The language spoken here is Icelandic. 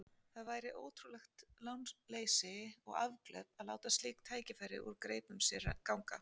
Það væri ótrúlegt lánleysi og afglöp að láta slík tækifæri úr greipum sér ganga.